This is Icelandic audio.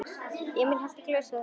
Emil hellti í glösin þeirra.